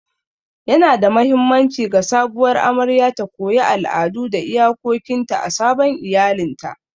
Yanada mahimmanci ga sabuwar amaryar ta koyi al'adu da iyakokinta a sabon iyalinta.